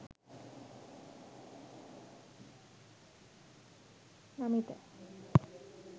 namitha